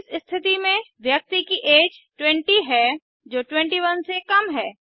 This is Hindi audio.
इस स्थिति में व्यक्ति की ऐज 20 है जो 21 से कम है